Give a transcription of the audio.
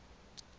ho ya ka palo ya